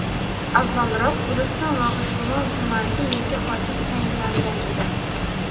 avvalroq Guliston va G‘ijduvon tumaniga yangi hokim tayinlangan edi.